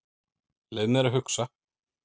Leyfðu mér að hugsa.